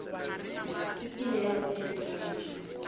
ekile ya ba di drama